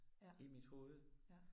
Ja, ja